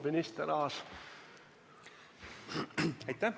Palun, minister Aas!